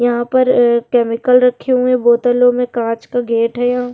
यहाँ पर अ केमिकल रखे हुए हैं बोतलों में कांच का गेट है यहां।